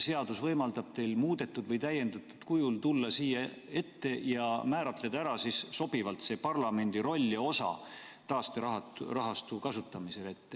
Seadus võimaldab teil muudetud või täiendatud kujul tulla siia ette ja määratleda sobivalt ära parlamendi roll ja osa taasterahastu kasutamisel.